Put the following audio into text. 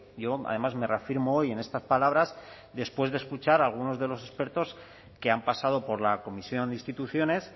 yo además me reafirmo hoy en estas palabras después de escuchar a algunos de los expertos que han pasado por la comisión de instituciones